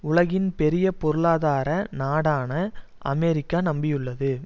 உலகின் பெரிய பொருளாதார நாடான அமெரிக்கா நம்பியுள்ளது